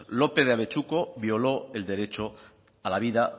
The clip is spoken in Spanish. lópez de abetxuko violó el derecho a la vida